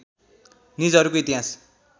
निजहरूको इतिहास